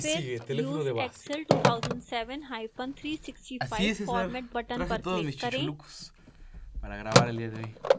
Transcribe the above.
फिर use excel 2007365 format button पर click करें